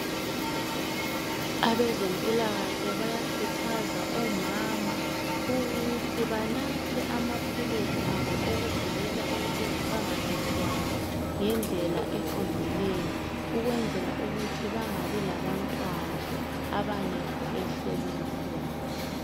Abezemphilakahle bayakuthaza omama ukuthi banathe amapilisi abo okuvikela ukuthi bangazithwali ngedlela eqondileyo ukunzela ukuthi bangabi labantwana abangekho ehlelweni lwabo.